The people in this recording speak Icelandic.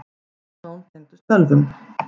Flest mál tengdust ölvun.